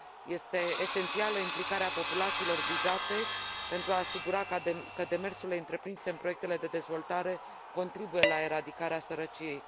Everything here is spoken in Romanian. Este esențială implicarea populațiilor vizate, pentru a asigura că demersurile întreprinse în proiectele de dezvoltare contribuie la eradicarea sărăciei.